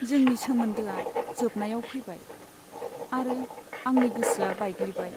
जोंनि सोमोन्दोआ जोबनायाव फैबाय आरो आंनि गोसोआ बायग्लिबाय।